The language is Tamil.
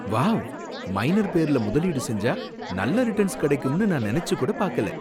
வாவ்! மைனர் பேருல முதலீடு செஞ்சா, நல்ல ரிட்டர்ன்ஸ் கிடைக்கும்னு நான் நனைச்சு கூட பாக்கல!